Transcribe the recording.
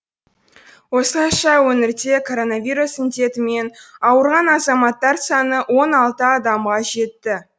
осылайша өңірде коронавирус індетімен ауырған азаматтар саны он алты адамға жетті